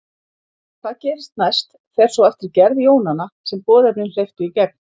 Hvað gerist næst fer svo eftir gerð jónanna sem boðefnin hleyptu í gegn.